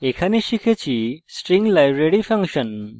in tutorial আমরা শিখেছি string library function